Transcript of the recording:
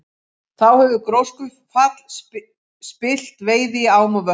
Þá hefur gjóskufall spillt veiði í ám og vötnum.